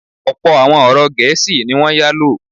Ọ̀pọ̀ àwọn ọ̀rọ̀ Gẹ̀ésì ní wọ́n yálò.